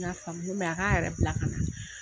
N'a faamu ken bɛ, a ka yɛrɛ bila ka na